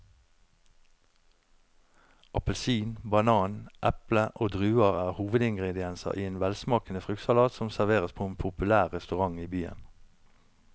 Appelsin, banan, eple og druer er hovedingredienser i en velsmakende fruktsalat som serveres på en populær restaurant i byen.